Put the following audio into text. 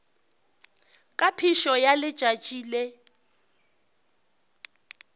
ka phišo ya letšatši le